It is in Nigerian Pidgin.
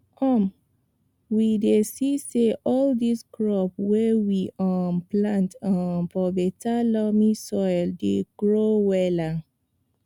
um we dey see say all di crops wey we um plant um for beta loamy soil dey grow wella